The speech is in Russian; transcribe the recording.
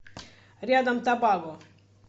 рядом табаго